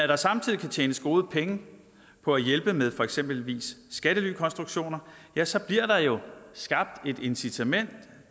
der samtidig kan tjenes gode penge på at hjælpe med eksempelvis skattelykonstruktioner ja så bliver der jo skabt et incitament